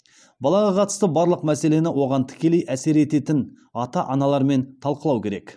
балаға қатысты барлық мәселені оған тікелей әсер ететін ата аналармен талқылау керек